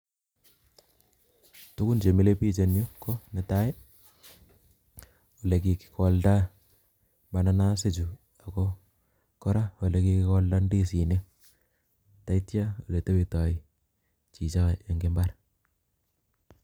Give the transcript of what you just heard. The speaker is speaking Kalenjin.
Tugun chemile biik en yuh ko chetai i,olekikikoldaa mananas ichu, oko kora koelekikoldaa indisinik, ak yeityo olekotebtoo chichon en imbaar